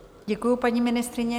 Děkuji, paní ministryně.